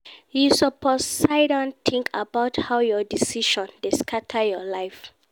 You suppose siddon tink about how your decisions dey scatter your life.